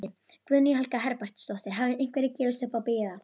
Guðný Helga Herbertsdóttir: Hafa einhverjir gefist upp á að bíða?